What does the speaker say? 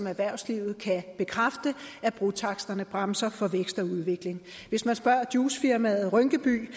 erhvervslivet kan bekræfte at brotaksterne bremser for vækst og udvikling hvis man spørger juicefirmaet rynkeby